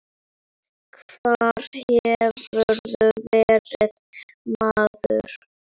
Hvar hefurðu verið, maður?